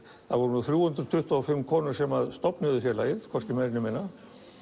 það voru þrjú hundruð tuttugu og fimm konur sem stofnuðu félagið hvorki meira né minna